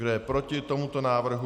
Kdo je proti tomuto návrhu?